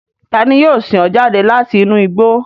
Tani yio sin o jade lati inu igbo?